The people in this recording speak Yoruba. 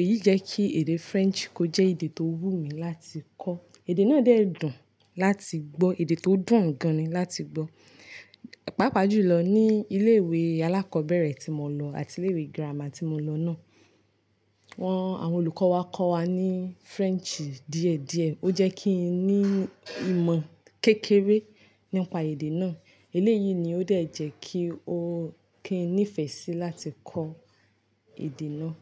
èyí jẹ́ kí èdè French kó jẹ́ èdè tó wúmi láti kọ́. Èdè náà dẹ̀ dùn láti gbọ́, èdè tó dùn gan an ni láti gbọ́. Pàápàá jù lọ ní ilé ìwé alákọ̀ọ́bẹ̀rẹ̀ tí mo lọ àti ilé ìwé girama tí mo lọ náà. Wọ́n, àwọn olùkọ́ wa kọ́ wa ní French díẹ̀díẹ̀. Ó jẹ́ kí n ní ìmọ̀ kékeré nípa èdè náà. Eléyìí ni ó dẹ̀ jẹ́ kí ó, kí n nífẹ̀ẹ́ sí láti kọ èdè náà.